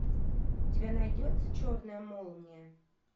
у тебя найдется черная молния